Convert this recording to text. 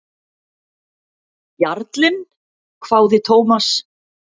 Jarlinn? hváði Thomas.